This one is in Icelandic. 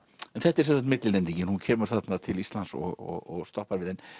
en þetta er sem sagt millilendingin hún kemur þarna til Íslands og stoppar við en